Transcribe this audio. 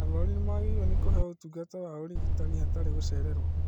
Arwaru nĩmagĩrĩirwo nĩ kũheo ũtungata wa ũrigitani hatarĩ gũcererwo